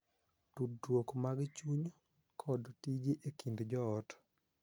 Tudruok mag chuny, kod tije e kind joot.